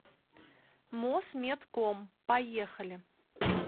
мосметком поехали